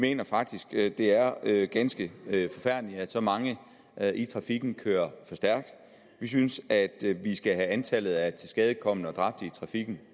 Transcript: mener faktisk at det er er ganske forfærdeligt at så mange i trafikken kører for stærkt vi synes at vi skal have antallet af tilskadekomne og dræbte i trafikken